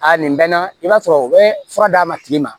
A nin bɛ na i b'a sɔrɔ u bɛ fura d'a ma tigi ma